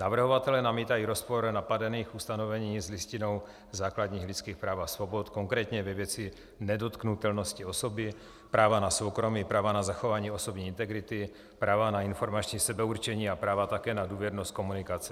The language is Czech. Navrhovatelé namítají rozpor napadených ustanovení s Listinou základních lidských práv a svobod, konkrétně ve věci nedotknutelnosti osoby, práva na soukromí, práva na zachování osobní integrity, práva na informační sebeurčení a práva také na důvěrnost komunikace.